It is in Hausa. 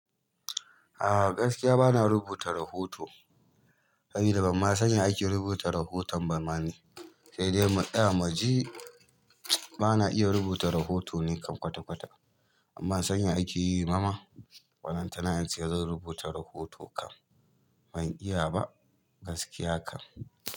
A gaskiya bana rubuta rahoto. Kai damma san ya ake rubuta rahoton bamani. Sai dai mu tsaya muji bana iya rubuta rahoto ni kan kwata-kwata. Bamma san ya ake yi bama. Ballan ta na ince zan rubuta rahoto kam ban iya ba gaskiya kam.